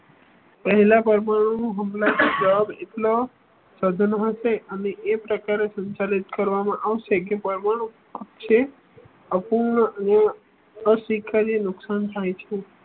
પહેલા પરમાણુ હુમલાનો એકલો સાધનો હશે અને એ પ્રકારે સંચાલિત કરવામાં આવશેકે પરમાણુ અપૂર્ણાંક અને અશિખરે નુકસાન થાય છે